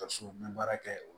Ka so bɛ baara kɛ o